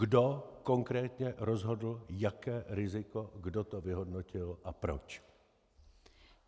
Kdo konkrétně rozhodl, jaké riziko, kdo to vyhodnotil a proč.